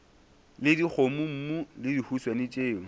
le dikgomommuu le dihuswane tšeo